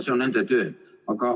See on nende töö.